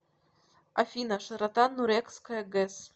афина широта нурекская гэс